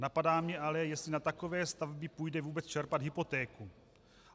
Napadá mě ale, jestli na takové stavby půjde vůbec čerpat hypotéku.